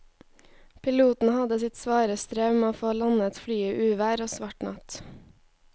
Piloten hadde sitt svare strev med å få landet flyet i uvær og svart natt.